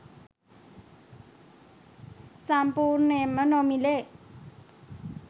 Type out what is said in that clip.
සම්පූර්ණයෙන්ම නොමිලේ